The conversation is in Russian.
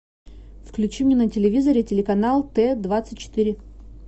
включи мне на телевизоре телеканал т двадцать четыре